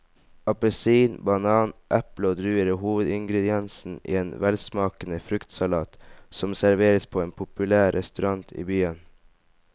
Appelsin, banan, eple og druer er hovedingredienser i en velsmakende fruktsalat som serveres på en populær restaurant i byen.